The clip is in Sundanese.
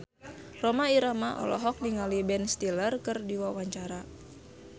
Rhoma Irama olohok ningali Ben Stiller keur diwawancara